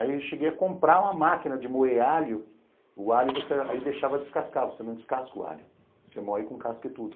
Aí eu cheguei a comprar uma máquina de moer alho, o alho você aí deixava descascar, você não descasca o alho, você moe com casca e tudo.